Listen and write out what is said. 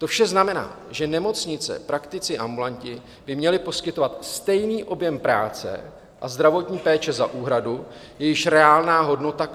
To vše znamená, že nemocnice, praktici, ambulanti by měli poskytovat stejný objem práce a zdravotní péče za úhradu, jejíž reálná hodnota klesá.